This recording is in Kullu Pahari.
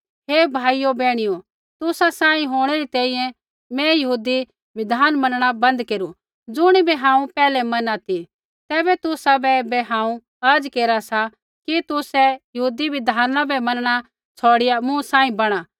हे भाइयो बैहणियो तुसा सांही होंणै री तैंईंयैं मैं यहूदी बिधाना मैनणा बन्द केरू ज़ुणिबै हांऊँ पैहलै मैना ती तैबै तुसाबै ऐबै हांऊँ अर्ज़ केरा सा कि तुसै यहूदी बिधाना बै मैनणा छ़ौड़िया मूँ सांही बणा